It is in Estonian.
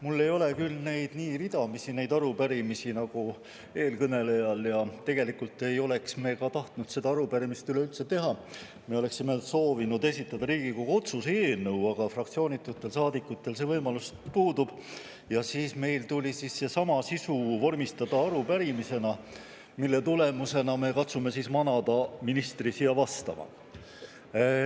Mul ei ole küll neid arupärimisi nii ridamisi nagu eelkõnelejal ja tegelikult ei oleks me seda arupärimist tahtnud üleüldse teha, vaid me oleksime soovinud esitada Riigikogu otsuse eelnõu, aga fraktsioonitutel saadikutel see võimalus puudub ja siis tuli meil seesama sisu vormistada arupärimisena, mille tulemusena me katsume manada ministri siia meile vastama.